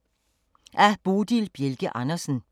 Af Bodil Bjelke Andersen